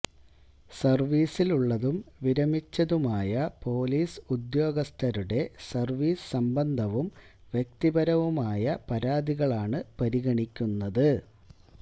സർവീസിലുള്ളതും വിരമിച്ചതുമായ പോലീസ് ഉദ്യോഗസ്ഥരുടെ സർവീസ് സംബന്ധവും വ്യക്തിപരവുമായ പരാതികളാണു പരിഗണിക്കുന്നത്